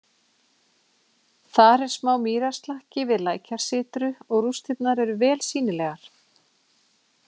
Þar er smá mýrarslakki við lækjarsytru og rústirnar eru vel sýnilegar.